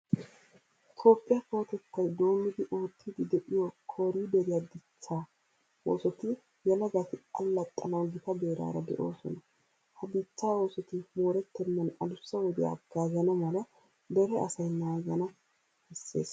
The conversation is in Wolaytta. Toophphiya kawotettay doommidi oottiddi de'iyo kooriideriya dichchaa oosoti yelagati allaxxanawu gita beeraara de'oosona. Ha dichchaa oosoti moorettennan aduussa wodiya haggaazana mala dere asay naagana bessees.